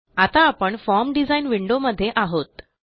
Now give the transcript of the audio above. आता आपण form design window मध्ये आहोत